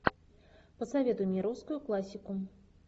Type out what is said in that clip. посоветуй мне русскую классику